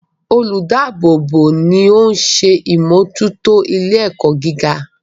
Olùdáàbò bò ni oún ṣe ìmójútó ilé ẹ̀kọ́ gíga